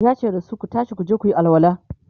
yace dasu "Ku tashi kuje kuyi alwala!"